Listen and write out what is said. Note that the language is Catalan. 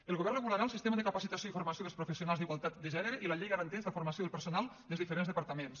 el govern regularà el sistema de capacitació i formació dels professionals d’igualtat de gènere i la llei garanteix la formació del personal dels diferents departaments